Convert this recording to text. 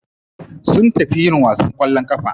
Sun tafi yin wasan kwallon kafa.